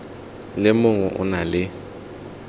le mongwe o na le